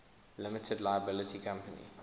limited liability company